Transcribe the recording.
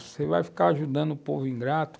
Você vai ficar ajudando o povo ingrato?